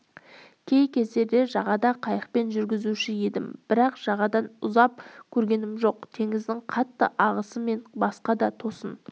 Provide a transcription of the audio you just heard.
кей кездерде жағада қайықпен жүзуші едім бірақ жағадан ұзап көргенім жоқ теңіздің қатты ағысы мен басқа да тосын